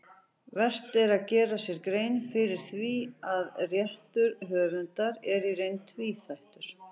Vert er að gera sér grein fyrir því að réttur höfundar er í reynd tvíþættur.